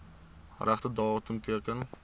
regte datum teken